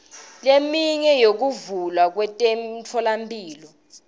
leminye yokuvulwa kwemitfolamphilo